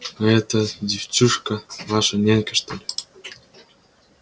а эта девчушка ваша нянька что ли